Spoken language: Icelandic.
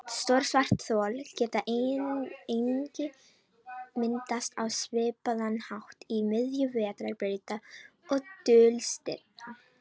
Stór svarthol geta einnig myndast á svipaðan hátt í miðjum vetrarbrauta og dulstirna.